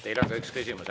Teile on ka üks küsimus.